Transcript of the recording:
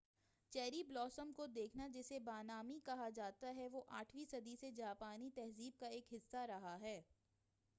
cherry blossom کو دیکھنا جسے ہانامی کہا جاتا ہے وہ آٹھویں صدی سے جاپانی تہذیب کا ایک حِصّہ رہا ہے